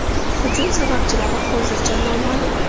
Hujum sabablari hozircha noma’lum.